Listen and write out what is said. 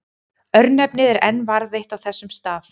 Örnefnið er enn varðveitt á þessum stað.